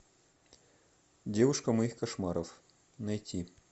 девушка моих кошмаров найти